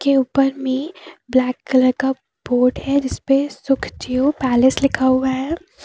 ये ऊपर में ब्लैक कलर का बोर्ड है जिसपे सुखदेओ पैलेस लिखा हुआ है।